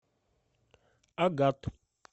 агат